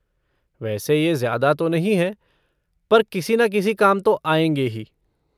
वैसे ये ज्यादा तो नहीं है पर किसी ना किसी काम तो आएँगे ही।